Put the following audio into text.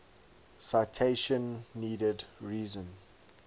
citation needed reason